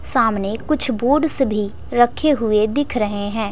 सामने कुछ बोर्ड्स भी रखे हुए दिख रहे हैं।